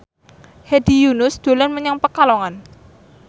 Hedi Yunus dolan menyang Pekalongan